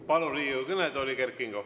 Palun Riigikogu kõnetooli Kert Kingo.